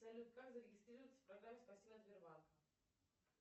салют как зарегистрироваться в программе спасибо от сбербанка